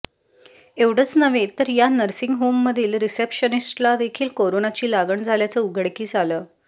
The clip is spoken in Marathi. एवढंच नव्हे तर या नर्सिंग होममधील रिसेप्शनिस्टला देखील कोरोनाची लागण झाल्याचं उघडकीस आलं